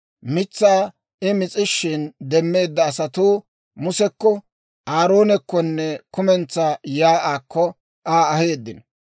Mitsaa I mis'ishin demmeedda asatuu Musekko, Aaroonekkonne kumentsaa shiik'uwaakko Aa aheeddino.